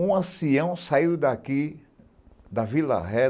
Um ancião saiu daqui da Vila Ré.